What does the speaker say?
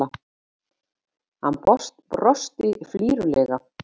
Hann brosti flírulega.